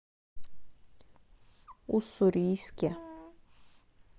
уссурийске